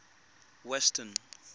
western